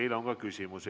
Teile on ka küsimusi.